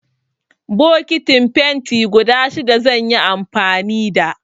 Bokitin fenti guda shida zan yi amfani da.